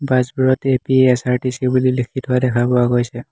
Bus বোৰত A P S R T C বুলি লিখি থোৱা দেখা পোৱা গৈছে।